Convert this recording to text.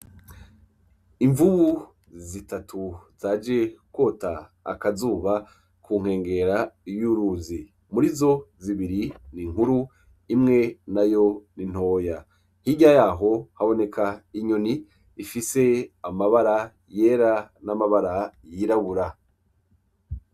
Imvubu zitatu zaje kwota akazuba ku nkengera y'uruzi, murizo zibiri ni inkuru imwe nayo ni ntoya, hirya yaho haboneka inyoni ifise amabara yera n'amabara yirabura.